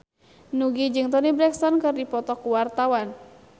Nugie jeung Toni Brexton keur dipoto ku wartawan